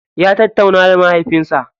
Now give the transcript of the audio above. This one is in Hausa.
Ya tattauna da mahaifinsa.